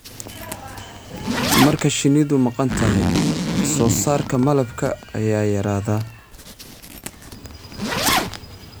Marka shinnidu maqan tahay, wax soo saarka malabka ayaa yaraada.